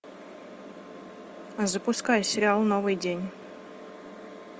запускай сериал новый день